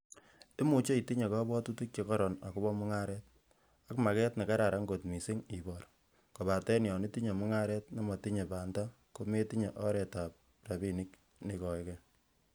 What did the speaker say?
Imuche itinye kobwotutik che koron agobo mungaret, ak maget nekararan kot missing ibor, kobaten yon itinye mungaret nemotinye baita kometinye oretab rabinik neikoege.